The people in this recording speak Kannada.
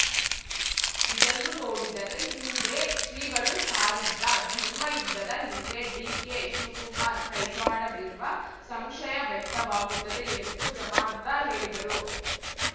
ಇದನ್ನು ನೋಡಿದರೆ ಹಿಂದೆ ಶ್ರೀಗಳು ಸಾರಿದ್ದ ಧರ್ಮಯುದ್ಧದ ಹಿಂದೆ ಡಿಕೆಶಿವ್ ಕುಮಾರ್‌ ಕೈವಾಡವಿರುವ ಸಂಶಯ ವ್ಯಕ್ತವಾಗುತ್ತದೆ ಎಂದು ಜಾಮರ್ದಾ ಹೇಳಿದರು